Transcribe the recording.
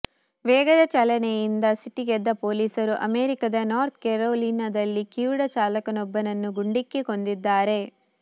ವೇಗದ ಚಾಲನೆಯಿಂದ ಸಿಟ್ಟಿಗೆದ್ದ ಪೊಲೀಸರು ಅಮೆರಿಕದ ನಾರ್ತ್ ಕೆರೊಲಿನಾದಲ್ಲಿ ಕಿವುಡ ಚಾಲಕನೊಬ್ಬನನ್ನು ಗುಂಡಿಕ್ಕಿ ಕೊಂದಿದ್ದಾರೆ